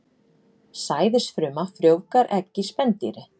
Sæðisfruma frjóvgar egg í spendýri.